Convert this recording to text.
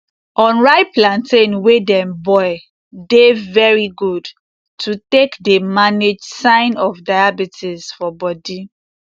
unripe plantain wey dem boil dey very good to take dey manage sign of diabetes for bodi